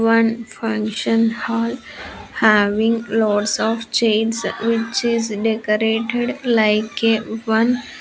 One function hall having lots of chairs which is decorated like a one --